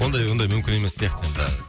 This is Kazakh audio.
ондай ондай мүмкін емес сияқты енді